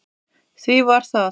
Því var það